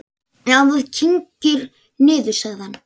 Já, það kyngir niður, sagði hann.